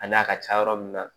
A n'a ka ca yɔrɔ min na